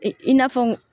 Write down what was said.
Ee i n'a fɔ